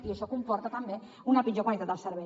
i això comporta també una pitjor qualitat del servei